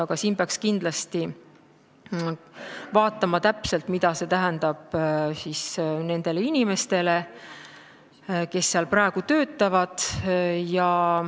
Aga siin peaks kindlasti täpselt vaatama, mida see tähendab nendele inimestele, kes seal praegu töötavad.